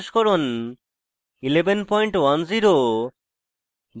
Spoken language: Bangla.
ubuntu os সংস্করণ 1110 এবং